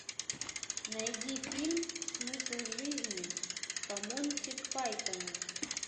найди фильм смысл жизни по монти пайтону